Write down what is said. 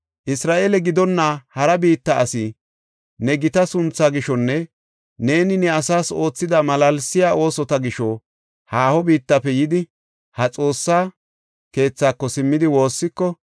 “Isra7eele gidonna hara biitta asi ne gita sunthaa gishonne neeni ne asaas oothida malaalsiya oosota gisho haaho biittafe yidi, ha Xoossa keethako simmidi woossiko,